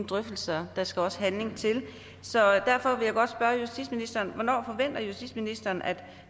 drøftelser der skal også handling til så derfor vil jeg godt spørge justitsministeren hvornår forventer justitsministeren at